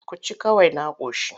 Ku ci kawai na ƙoshi.